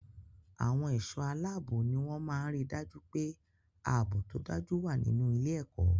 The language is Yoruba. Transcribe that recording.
Àwọn ẹ̀ṣọ́-aláábò ní wọ́n máa ń ri dájú pé ààbò tó dájú wà nínú ilé-ẹ̀kọ́.